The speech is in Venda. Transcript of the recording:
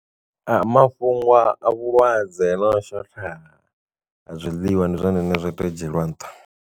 A mafhungo a vhulwadze no shotha a zwiḽiwa ndi zwone zwine zwa tea u dzhielwa nṱha.